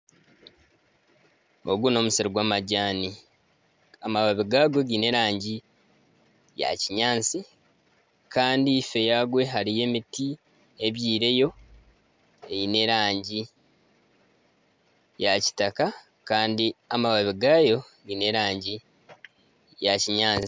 Ogu n'omusiri gw'amajani, amabibi gagwo giine erangi ya kinyaatsi kandi ife yagwo hariyo emiti ebyaireyo eine erangi ya kitaka kandi amababi gaayo giine erangi ya kinyaatsi